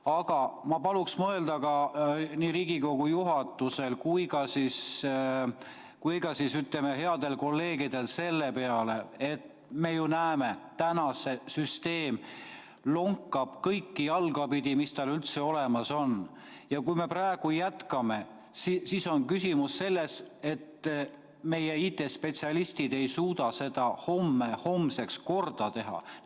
Aga ma paluksin mõelda nii Riigikogu juhatusel kui ka headel kolleegidel selle peale, et me ju näeme, täna see süsteem lonkab kõiki jalgu pidi, mis tal üldse olemas on, ja kui me praegu jätkame, siis on küsimus selles, kas meie IT-spetsialistid suudavad selle homseks korda teha.